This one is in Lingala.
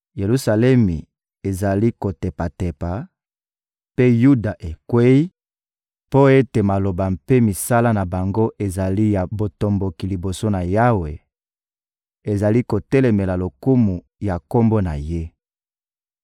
Yelusalemi ezali kotepatepa, mpe Yuda ekweyi; mpo ete maloba mpe misala na bango ezali ya botomboki liboso ya Yawe, ezali kotelemela lokumu ya Kombo na Ye.